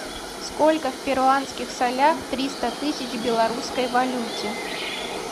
сколько в перуанских солях триста тысяч в белорусской валюте